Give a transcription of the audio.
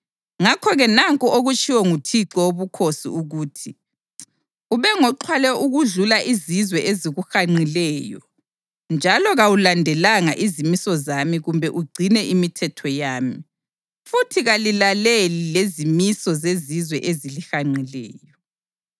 Ngakho-ke nanku okutshiwo nguThixo Wobukhosi ukuthi: Ube ngoxhwale okudlula izizwe ezikuhanqileyo njalo kawulandelanga izimiso zami kumbe ugcine imithetho yami. Futhi kalilaleli lezimiso zezizwe ezilihanqileyo.